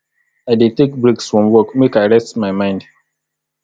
i dey take breaks from work make i rest my mind